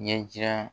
Ɲɛjira